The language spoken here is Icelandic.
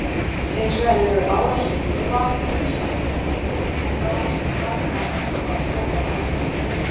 Hins vegar eru árásir úlfa mun sjaldgæfari en árásir margra annarra stórra rándýra.